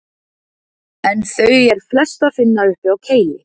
En þau er flest að finna uppi á Kili.